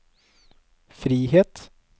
frihet